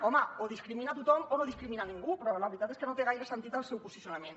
home o discrimina a tothom o no discrimina a ningú però la veritat és que no té gaire sentit el seu posicionament